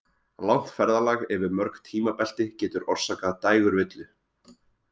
Langt ferðalag yfir mörg tímabelti getur orsakað dægurvillu.